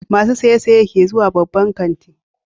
Masu saye-saye ke zuwa babban kanti.